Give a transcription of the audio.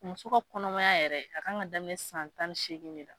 Muso ka kɔnɔmaya yɛrɛ a k'an ka daminɛ san tan ni seegin de la.